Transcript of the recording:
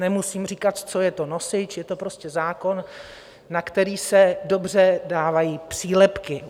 Nemusím říkat, co je to nosič - je to prostě zákon, na který se dobře dávají přílepky.